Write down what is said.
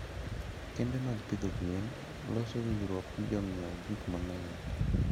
kembe mag pidho gwen loso winjruok gi jo ng'iewo gik mang'eny.